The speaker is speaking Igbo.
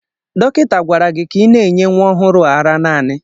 Dọkịta gwara gị ka ị na-enye nwa ọhụrụ a ara naanị!